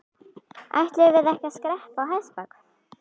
Ætluðum við ekki að skreppa á hestbak?